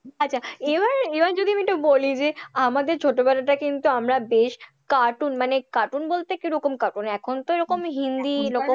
আচ্ছা এবার এবার যদি আমি একটু বলি যে আমাদের ছোটবেলাটা কিন্তু আমরা best cartoon মানে cartoon বলতে কি রকম cartoon এখনতো এরকম হিন্দি,